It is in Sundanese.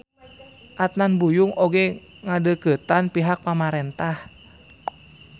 Adnan Buyung oge ngadeukeutan pihak pamarentah.